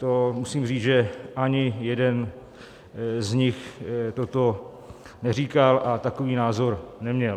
To musím říct, že ani jeden z nich toto neříkal a takový názor neměl.